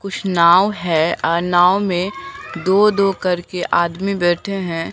कुछ नाव है अ नाव में दो दो करके आदमी बैठे है।